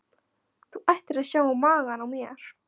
Þú ættir að sjá magann á mér.